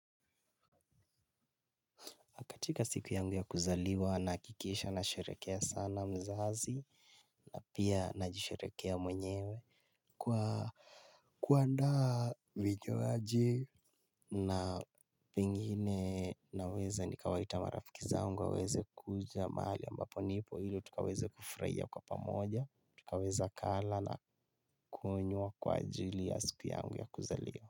Katika siku yangu ya kuzaliwa na hakikisha na sherekea sana mzazi. Na pia na jisherekea mwenyewe, kwa, kuandaa vinywaji, na, pengine naweza nikawaita marafiki zangu waweze kuja mahali ambapo nipo ili tukaweze kufurahia kwa pamoja, tukaweza kula na. Kunywa kwa ajili ya siku yangu ya kuzaliwa.